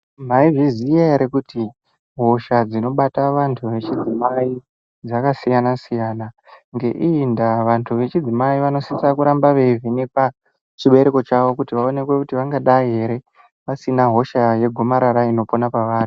Mwaizviziya ere kuti hosha dzinobata vanhu vechidzimai dzakasiyana siyana. Ngeiyi ndaa vanhu vechidzimai vasisire kuramba veivhenekwa chibereko chavo kuti vaonekwe kuti vangadayi ere vasina hosha yegomarara inopona pavari.